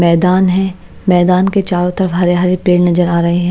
मैदान है मैदान के चारों तरफ हरे-हरे पेड़ नजर आ रहे हैं।